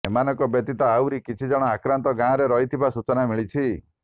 ଏମାନଙ୍କ ବ୍ୟତୀତ ଆହୁରି କିଛି ଜଣ ଆକ୍ରାନ୍ତ ଗାଁରେ ରହିଥିବା ସୂଚନା ମିଳିଛି